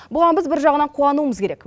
бұған біз бір жағынан қуануымыз керек